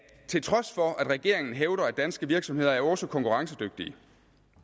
til trods for at regeringen hævder at danske virksomheder er åh så konkurrencedygtige